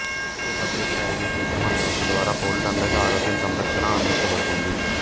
అయితే పబ్లిక్ప్రైవేట్ మిశ్రమ వ్యవస్థ ద్వారా పౌరులందరికి ఆరోగ్య సంరక్షణ అందించబడుతుంది